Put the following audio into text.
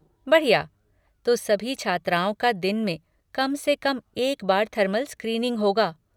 बढ़िया! तो सभी छात्राओं का दिन में कम से एक बार थर्मल स्क्रीनिंग होगा।